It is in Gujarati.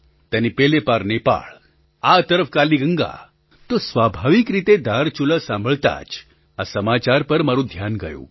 તેની પેલે પાર નેપાળ આ તરફ કાલી ગંગા તો સ્વાભાવિક રીતે ધારચુલા સાંભળતાં જ આ સમાચાર પર મારું ધ્યાન ગયું